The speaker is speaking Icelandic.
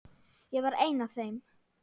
Ég var einn af þeim.